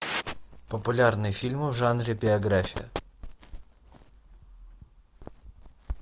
популярные фильмы в жанре биография